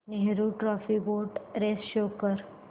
Nehru trophy boat race show कर